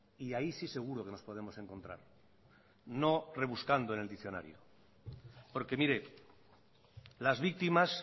y ahí sí seguro que nos podemos encontrar no rebuscando en el diccionario porque mire las víctimas